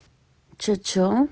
что что